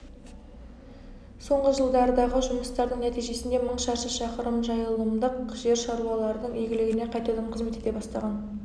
соңғы жылдардағы жұмыстардың нәтижесінде мың шаршы шақырым жайылымдық жер шаруалардың игілігіне қайтадан қызмет ете бастаған